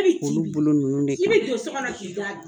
I bolo nunun de kama